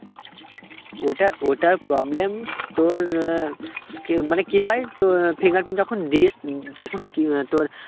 ওটা ওটার problem তোর আহ মানে কি হয় তো আহ fingerprint যখন দিস উম তখন কি আহ তোর